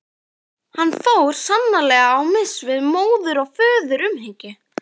Hann fór sannarlega á mis við móður- og föðurumhyggju.